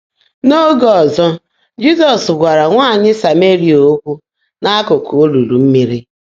N’óge ọ́zọ́, Jị́zọ́s gwààrá nwáanyị́ Sáméríà ókwụ́ n’ákụ́kụ́ ólúlu mmị́rí.